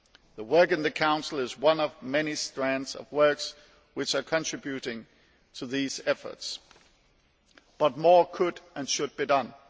The work in the Council is one of many strands of work which are contributing to these efforts but more could and should be done.